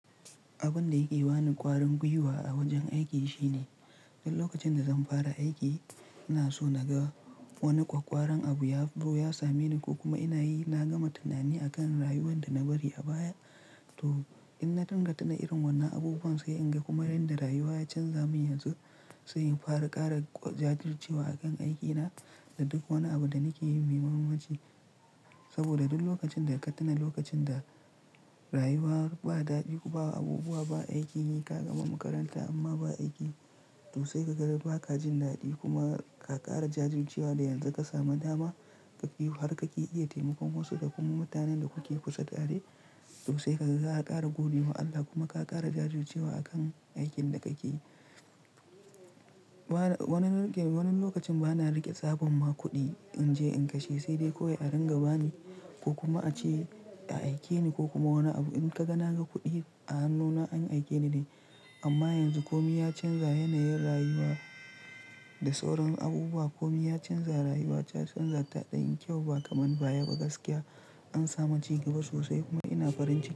Abin da yake bani ƙwarin gwiwa a wajen aiki shine, duk lokacin da zan fara aiki, ina so na ga wani ƙwaƙƙwaran abu ya zo ya same ni ko kuma ina yi, na gama tunani akan rayuwar da na bari a baya. To, in na danganta irin wannan abubuwan sai in ga kuma yanda rayuwa ya canza min yanzu, sai in fara ƙara jajircewa akan aikina da duk wani abu da nake yi mai mahimmanci. Saboda duk lokacin da ka tuna lokacin da rayuwa ba daɗi, ba abubuwa, ba aiki, ka gama makaranta amma ba aiki sosai ka ga ba ka jin daɗi kuma ka ƙara jajircewa da yanzu ka sami dama ka biyu har ka iya taimakon wasu da kuma mutanen da kuke kusa tare, to sai ka ga ka ƙara gode wa Allah kuma ka ƙara jajircewa akan aikin da kake yi. Wani, wani lokacin bana riƙe tsabon ma kuɗi in je in kashe sai dai kawai a ringa ba ni ko kuma a ce a aike ni ko kuma wani abu. In ka ga na ga kuɗi a hannuna an aike ni ne. Amma yanzu komi ya canza yanayin rayuwa da sauran abubuwa. Komi ya canza rayuwa, ta canza ta ɗanyi kyau ba kaman baya ba gaskiya. An sami ci gaba sosai kuma ina farin ciki.